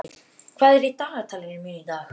Yrkill, hvað er í dagatalinu mínu í dag?